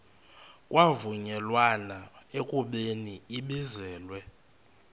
kwavunyelwana ekubeni ibizelwe